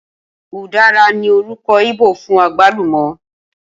Ùdára ní orúkọ íbò fún àgbálùmọ́